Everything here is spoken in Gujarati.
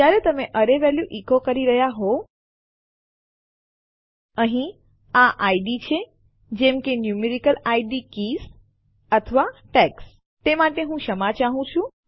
જ્યારે તમે એરે વેલ્યુ ઇકો કરી રહ્યાં હોવ અહીં આ ઇડ છે જેમ કે ન્યુમેરિકલ ઇડ આંકડાકીય ઇડ કીઝ કળો અથવા ટેગ્સ ટૅગ્સ તે માટે હું ક્ષમા ચાહું છું